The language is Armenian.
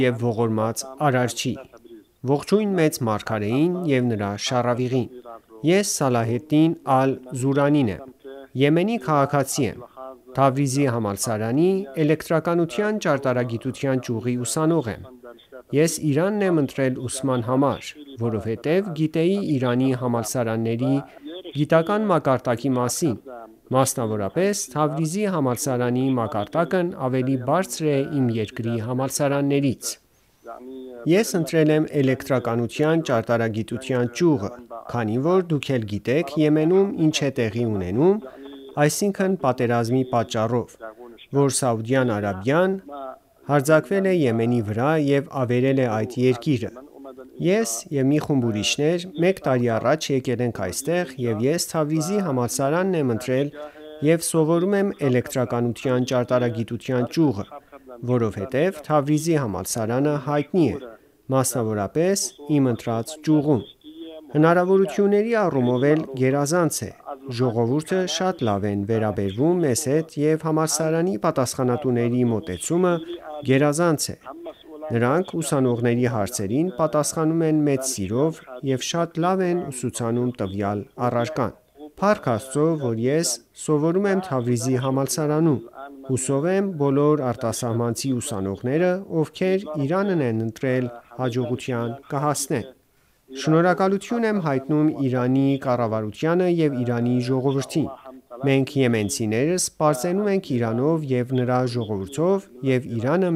և ողորմած Արարչի: Ողջույն մեծ մարգարեին ու նրա շառավղին: Ես Սալահեդդին Ալ-Զուրանին եմ: Եմենի քաղաքացի եմ: Թավրիզի համալսարանի էլէկտրականության ճարտարագիտության ճյուղի ուսանող եմ: Ես Իրանն եմ ընտրել ուսման համար, որովհետև գիտեի Իրանի համալսարանների գիտական մակարդակի մասին, մասնավորապես Թավրիզի համալսարանի մակարդակն ավելի բարձր է իմ երկրի համալսարաններից: Ես ընտրել եմ էլեկտրականության ճարտարագիտության ճյուղը, քանի որ դուք էլ գիտեք Եմենում ինչ է տեղի ունենում, այսինքն պատերազմի պատճառով, որ Սաուդյան Արաբիան հարձակվել է Եմենի վրա և ավերել է այդ երկիրը: Ես և մի խումբ ուրիշներ մեկ տարի առաջ եկել ենք այստեղ և ես Թավրիզի համալսարանն եմ ընտրել և սովորում եմ էլէկտրականության ճարտարագիտության ճյուղը, որովհետև Թավրիզի համալսարանը հայտնի է, մասնավորապես իմ ընտրած ճյուղում: Հնարավորությունների առումով էլ գերազանց է, ժողովուրդը շատ լավ են վերաբերվում մեզ հետ և համալսարանի պատասխանատուների մոտեցումը գերազանց է: Նրանք ուսանողների հարցերին պատասխանում են մեծ սիրով և շատ լավ են ուսուցանում տվյալ առարկան: Փառք Աստծո, որ ես սովորում եմ Թավրիզի համալսարանում: Հուսով եմ բոլոր արտասահմանցի ուսանողները, ովքեր Իրանն են ընտրել հաջողության կհասնեն: Շնորհակալություն եմ հայտնում Իրանի կառավարությանը և Իրանի ժողովրդին: Մենք եմենցիներս պարծենում ենք Իրանով և նրա ժողովրդով և Իրանը